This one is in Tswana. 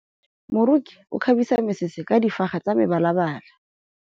Moroki o kgabisa mesese ka difaga tsa mebalabala.